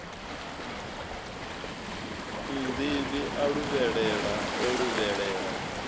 nnḓivhi a luvhelela o luvhelela